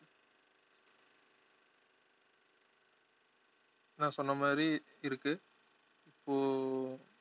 நான் சொன்ன மாதிரி இருக்கு